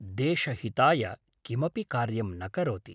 देशहिताय किमपि कार्यं न करोति